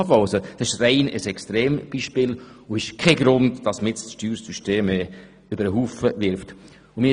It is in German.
Das ist ein Extrembeispiel und kein Grund, das Steuersystem über den Haufen zu werfen.